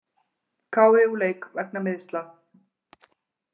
Kári úr leik vegna meiðsla